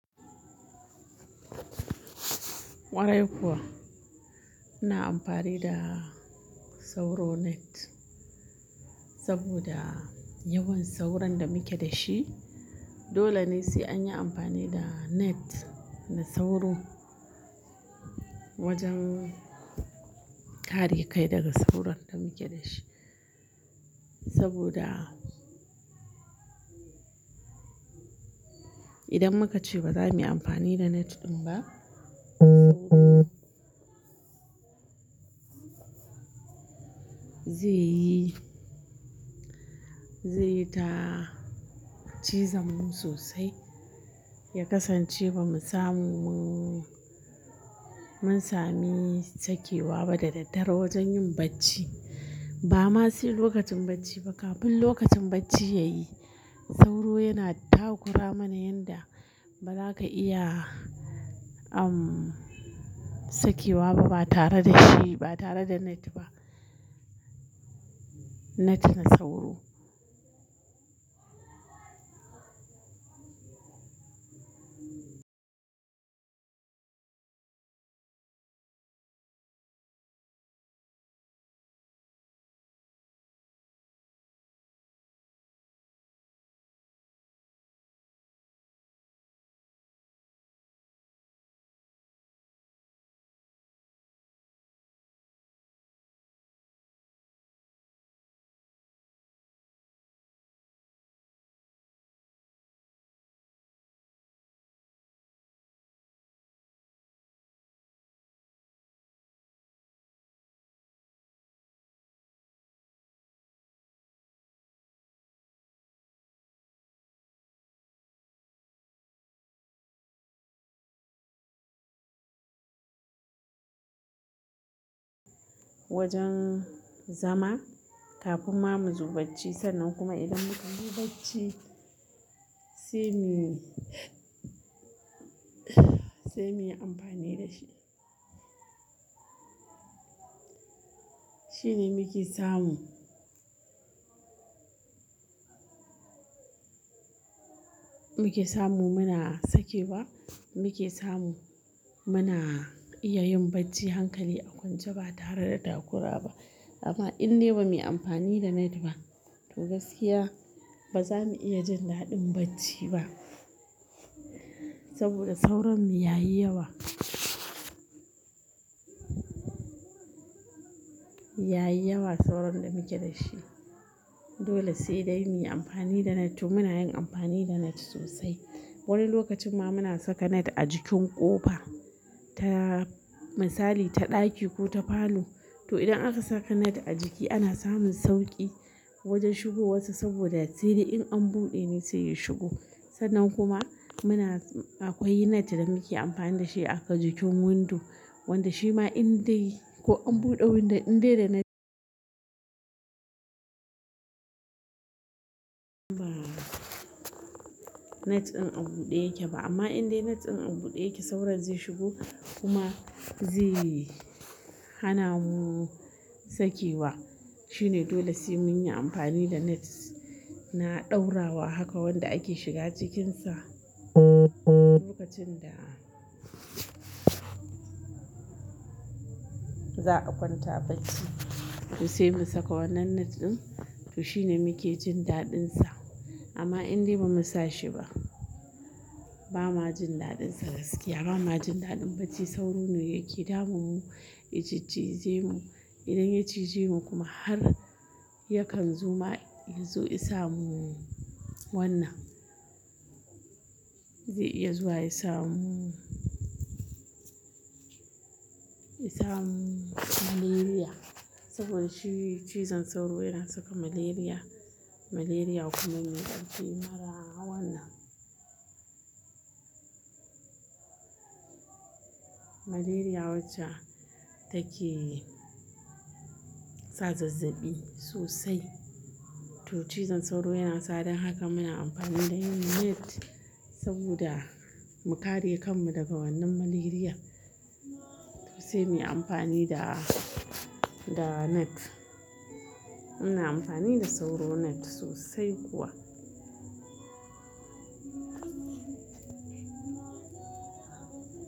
Kwarai kuwa, muna amfani da sauro net saboda yawan sauron da muke da shi. Dolene sai anyi anfani da net na sauro wajan kare kai daga sauron da muke da shi sabida idan muka ce ba za mu yi amfani da net ɗin ba ze yi, ze yi ta cizam mu sosai, ya kasance ba mu samu, mun sami sakewa ba da daddare wajen yin bacci. Ba ma sai lokacin bacci ba, kafin lokacin bacci ya yi. Sauro yana ta kura mana yanda ba za ka iya, umm, sakewa ba, ba tare da shi, ba tare da net ba. Net na sauro. Wajen zama kafin ma mu zoba bacci, sannan kuma idan muka zo ba bacci sai mu, sai mu yi amfani da shi. Shine muke samu, muke samu muna sakewa, muke samu muna iya yin bacci hankali a kwance ba tare da takura ba. Amma in dai ba mu yi amfani da net ba, to gaskiya ba za mu iya jin daɗin bacci ba saboda sauron mu ya yi yawa. Yayi yawa sauron da muke da shi Dole sai dai mu yi amfani da net, to muna yin amfani da net sosai. Wani lokacin ma muna saka net a jikin ƙofa ta, misali ta ɗaki ko ta falo. To idan aka saka net a jiki ana samun sauƙi wajen shigo wassa saboda sai dai in an buɗe ne sai ya shigo. Sannan kuma muna, akwai net da muke amfani da shi afa jikin window, wanda shi ma in dai ko an buɗe window in dai da net ba net ɗin an buɗe yake ba. Amma in dai net ɗin an buɗe yake sauron zai shigo kuma zai hana mu sakewa. Shine dole sai mun yi amfani da net na ɗaura wa haka wanda ake shiga cikinsa lokacin da za a kwanta bacci. Toh sai mu saka wannan net ɗin, toh shine muke jin daɗin sa. Amma in dai ba mu sa shi ba, ba ma jin daɗin sa gaskiya. Ba ma jin daɗin bacci, sauro ne yake damun mu, ya ciccije mu. Idan ya cije mu kuma har yakan zoma, ya zo ya sa mu wannan, zai iya zuwa ya sa mu, ya sa mu malaria. Saboda shi cizon sauro yana saka malaria, malaria kuma yana ɗauke mana wannan. Maleria wacca take sa zazzabi sosai. Toh cizon sauro yana sa don haka muna amfani da yin net saboda mu kare kanmu daga wannan malaria. Toh sai mu yi amfani da, da net. Muna amfani da sauro net sosai kuwa.